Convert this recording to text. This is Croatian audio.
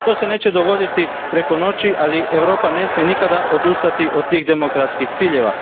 To se neće dogoditi preko noći, ali Europa ne smije nikada odustati od tih demokratskih ciljeva.